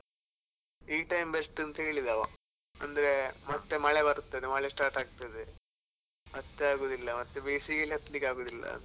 ಈ time best ಅಂತ ಹೇಳಿದ ಅವ, ಅಂದ್ರೆ ಮತ್ತೆ ಮಳೆ ಬರ್ತದೆ ಮಳೆ start ಆಗ್ತದೆ ಮತ್ತೆ ಆಗುದಿಲ್ಲ ಮತ್ತೆ ಬೇಸಿಗೆಲಿ ಹತ್ಲಿಕ್ಕೆ ಆಗುದಿಲ್ಲ ಅಂತ.